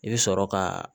I bɛ sɔrɔ ka